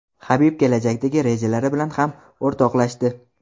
Habib kelajakdagi rejalari bilan ham o‘rtoqlashdi.